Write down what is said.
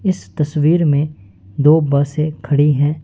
इस तस्वीर में दो बसे खड़ी हैं।